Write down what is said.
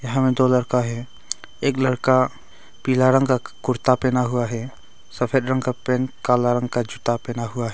यहां में दो लड़का है एक लड़का पीला रंग का कुर्ता पहना हुआ है सफेद रंग का पैंट काला रंग का जूता पहना हुआ है।